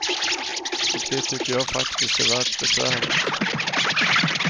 Och det tycker jag faktiskt är värt besväret.